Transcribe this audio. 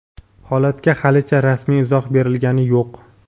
Holatga halicha rasmiy izoh berilgani yo‘q.